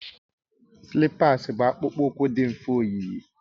Slipas bụ akpụkpọ ụkwụ dị mfe oyiyi